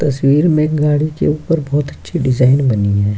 तस्वीर में एक गाड़ी के ऊपर बहुत अच्छी डिजाइन बनी है।